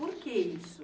Por que isso?